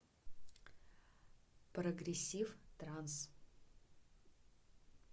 прогрессив транс